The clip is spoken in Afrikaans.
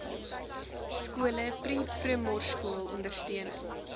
skole preprimorskool ondersteuning